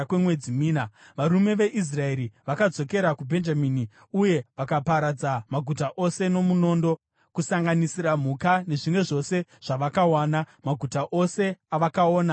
Varume veIsraeri vakadzokera kuBhenjamini uye vakaparadza maguta ose nomunondo, kusanganisira mhuka nezvimwe zvose zvavakawana. Maguta ose avakaona vakaapisa.